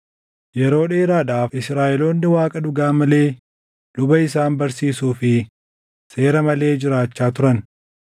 Yeroo dheeraadhaaf Israaʼeloonni Waaqa dhugaa malee luba isaan barsiisuu fi seera malee jiraachaa turan.